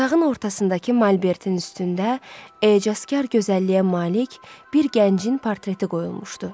Otağın ortasındakı malbertin üstündə ecazkar gözəlliyə malik bir gəncin portreti qoyulmuşdu.